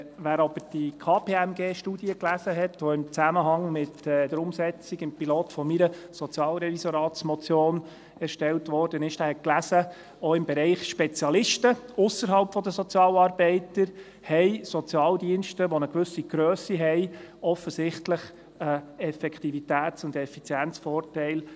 Wer aber die KPMG-Studie gelesen hat, die im Zusammenhang mit der Umsetzung im Pilot von meiner Sozialrevisoratsmotion erstellt wurde, hat gelesen, auch im Bereich Spezialisten ausserhalb der Sozialarbeiter haben Sozialdienste mit einer gewissen Grösse offensichtlich einen Effektivitäts- und Effizienzvorteil.